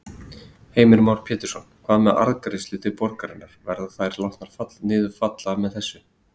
Heimir Már Pétursson: Hvað með arðgreiðslur til borgarinnar, verða þær látnar niður falla með þessu?